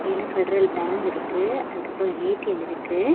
இதுல Federal Bank இருக்கு அதுக்கப்றோ ஏ_டி_எம் இருக்கு.